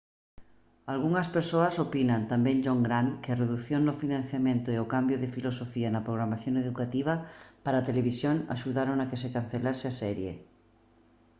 algunhas persoas opinan tamén john grant que a redución no financiamento e o cambio de filosofía na programación educativa para a televisión axudaron a que se cancelase a serie